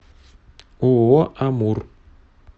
ооо амур